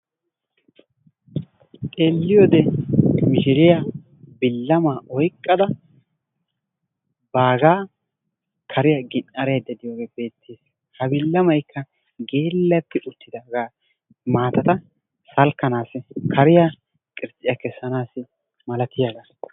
Xeelliyoode mishriyaa bilamaa oyqqada bagaa kariyaa gin"araydda diyoogee beettees. Ha bilamaykka geellati uttidaagaa maatata salkkanaasi kariyaa qirtsiyaa kessanaassi malatiyagaa.